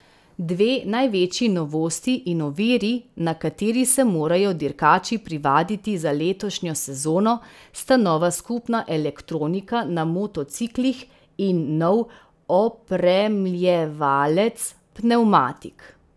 Dve največji novosti in oviri, na kateri se morajo dirkači privaditi za letošnjo sezono, sta nova skupna elektronika na motociklih in nov opremljevalec pnevmatik.